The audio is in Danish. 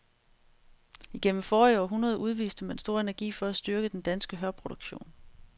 Igennem forrige århundrede udviste man stor energi for at styrke den danske hørproduktion.